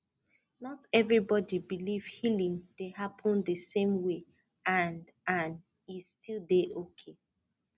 not everybody believe healing dey happen the same way and and e still dey okay